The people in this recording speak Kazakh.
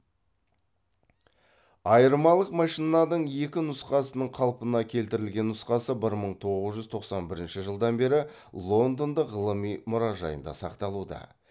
айырмалық машинаның екі нұсқасының қалпына келтірілген нұсқасы мың тоғыз жүз тоқсан бірінші жылдан бері лондондық ғылыми мұражайында сақталуда